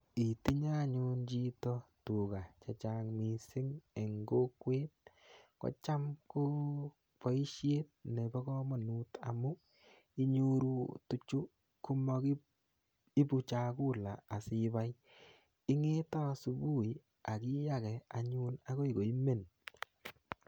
Itinye anyun chito tuga che chang' missing' eng' kokwet ko cham ko poishet nepo kamanut amu inyoru tuchu ko makiipu chakula asiipai. Ing'ete asubuhi ak ipiyage akoi koimen.